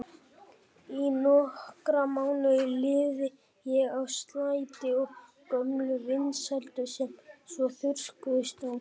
Í nokkra mánuði lifði ég á slætti og gömlum vinsældum sem svo þurrkuðust út.